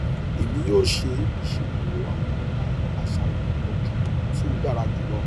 emi yoo ṣe iṣeduro awọn aṣayan itọju ti o dara julọ